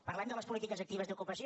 parlem de les polítiques actives d’ocupació